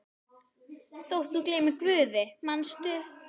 Þótt þú gleymir Guði, manstu?